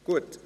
Gut